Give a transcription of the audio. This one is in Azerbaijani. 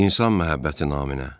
İnsan məhəbbəti naminə.